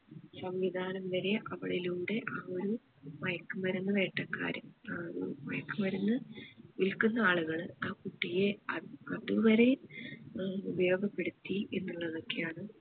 സംവിധാനം വരെ അവളിലൂടെ ആ ഒരു മയക്കുമരുന്ന് വേട്ടക്കാരൻ ഏർ ഒരു മയക്കുമരുന്ന് വിൽക്കുന്ന ആളുകള് ആ കുട്ടിയെ അഹ് അത് വരെ ഏർ ഉപയോഗപ്പെടുത്തി എന്നുള്ളതൊക്കെ ആണ്